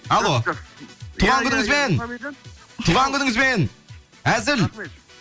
алло туған күніңізбен туған күніңізбен әзіл